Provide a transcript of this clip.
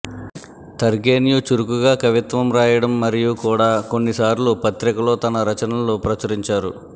Turgenev చురుకుగా కవిత్వం రాయడం మరియు కూడా కొన్ని సార్లు పత్రిక లో తన రచనలు ప్రచురించారు